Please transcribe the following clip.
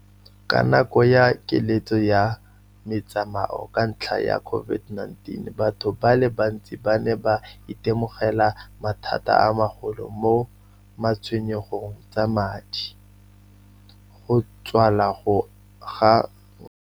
Ka nako ya keletso ya metsamao ka ntlha ya COVID-19, batho ba le bantsi ba ne ba itemogela mathata a magolo mo matshwenyegong tsa madi, go tswala ga .